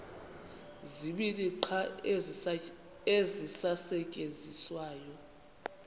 zibini qha ezisasetyenziswayo